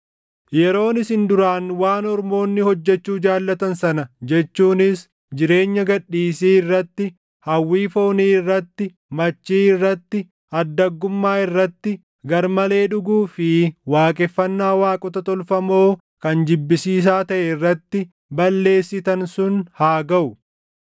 Yeroon isin duraan waan ormoonni hojjechuu jaallatan sana jechuunis jireenya gad dhiisii irratti, hawwii foonii irratti, machii irratti, addaggummaa irratti, gar malee dhuguu fi waaqeffannaa waaqota tolfamoo kan jibbisiisaa taʼe irratti balleessitan sun haa gaʼu.